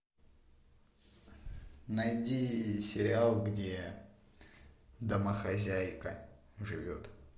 найди сериал где домохозяйка живет